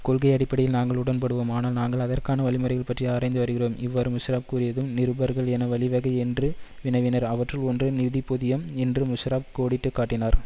கொள்கை அடிப்படையில் நாங்கள் உடன்படுவோம் ஆனால் நாங்கள் அதற்கான வழிமுறைகள் பற்றி ஆராய்ந்து வருகிறோம் இவ்வாறு முஷராப் கூறியதும் நிருபர்கள் என வழிவகை என்று வினவினர் அவற்றுள் ஒன்று நிதிப்பொதியம் என்று முஷாரப் கோடிட்டு காட்டினார்